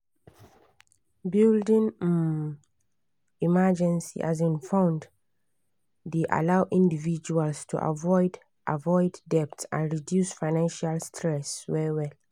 building um emergency um fund dey allow individuals to avoid avoid debt and reduce financial stress well well.